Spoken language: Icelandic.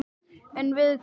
En við hvað?